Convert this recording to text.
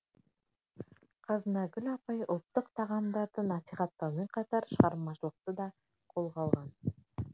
қазынагүл апай ұлттық тағамдарды насихаттаумен қатар шығармашылықты да қолға алған